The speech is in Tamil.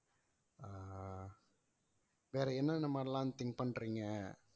வேற என்னென்ன மாதிரி எல்லாம் think பண்றீங்க